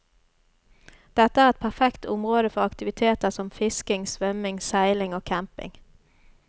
Dette er et perfekt område for aktiviteter som fisking, svømming, seiling og camping.